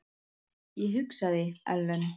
Ég hugsaði: Ellen?